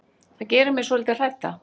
Það gerir mig svolítið hrædda.